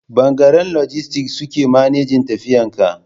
bangaren lojistis suke manejin tafiyan kaya